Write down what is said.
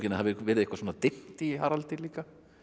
hafi verið eitthvað dimmt í Haraldi líka